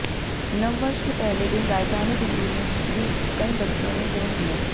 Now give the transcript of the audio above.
नववर्ष के पहले दिन राजधानी दिल्ली में भी कई बच्चों ने जन्म लिया